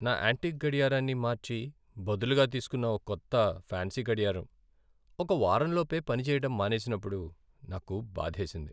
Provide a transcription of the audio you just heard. నా యాంటీక్ గడియారాన్ని మార్చి బదులుగా తీసుకున్న ఓ కొత్త ఫాన్సీ గడియారం ఒక వారంలోపే పని చెయ్యడం మానేసినప్పుడు నాకు బాధేసింది.